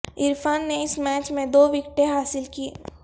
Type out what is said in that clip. عرفان نے اس میچ میں دو وکٹیں حاصل کیں